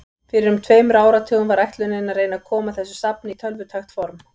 Fyrir um tveimur áratugum var ætlunin að reyna að koma þessu safni í tölvutækt form.